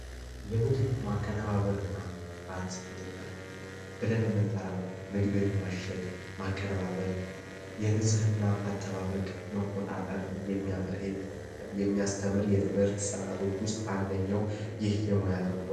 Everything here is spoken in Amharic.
የምግብ ማቀነባበር እና ጥራት ቁጥጥር ብለን ምንጠራው ምግብን ማሸግ ፣ማቀነባበር፣ የንፅህና አጠባበቅ መቆጣጠርን የሚያስተምር የትምህርት ስርዓቶች ውስጥ አንደኛው ይህ የሙያ ተኮር ነው።